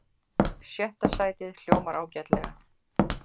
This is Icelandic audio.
Sjötta sætið hljómar ágætlega